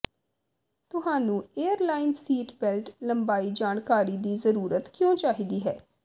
ਤੁਹਾਨੂੰ airline seat belt ਲੰਬਾਈ ਜਾਣਕਾਰੀ ਦੀ ਜ਼ਰੂਰਤ ਕਿਉਂ ਚਾਹੀਦੀ ਹੈ